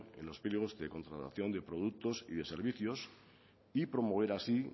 en los pliegos de contratación de productos y de servicios y promover así